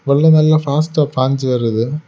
உள்ளதெல்லாம் பாஸ்டா பாஞ்சு வருது.